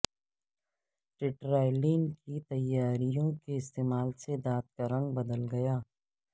ٹیٹرایلین کی تیاریوں کے استعمال سے دانت کا رنگ بدل گیا